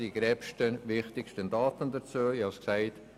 Dies sind die wichtigsten, gröbsten Daten zu diesem Geschäft.